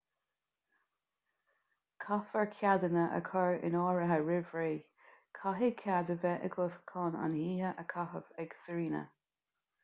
caithfear ceadanna a chur in áirithe roimh ré caithfidh cead a bheith agat chun an oíche a chaitheamh ag sirena